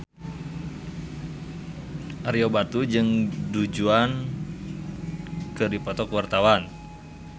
Ario Batu jeung Du Juan keur dipoto ku wartawan